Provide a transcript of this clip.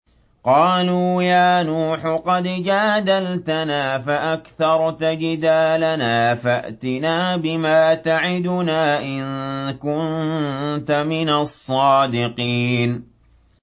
قَالُوا يَا نُوحُ قَدْ جَادَلْتَنَا فَأَكْثَرْتَ جِدَالَنَا فَأْتِنَا بِمَا تَعِدُنَا إِن كُنتَ مِنَ الصَّادِقِينَ